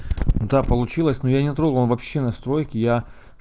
да получилось но я не трогал он вообще настройки я